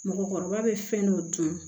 Mɔgɔkɔrɔba bɛ fɛn dɔ dun